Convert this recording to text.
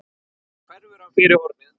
Svo hverfur hann fyrir hornið.